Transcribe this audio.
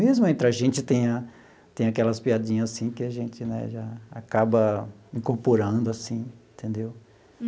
Mesmo entre a gente tem a tem aquelas piadinhas, assim, que a gente né já acaba incorporando, assim, entendeu?